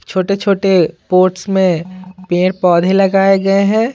छोटे-छोटे पोर्ट्स में पेड़ पौधे लगाए गए हैं।